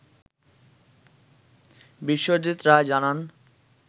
বিশ্বজিৎ রায় জানান